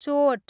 चोट